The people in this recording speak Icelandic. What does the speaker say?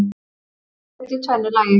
Atkvæði greidd í tvennu lagi